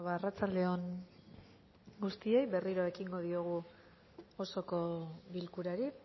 arratsaldeon guztioi berriro ekingo diogu osoko bilkurari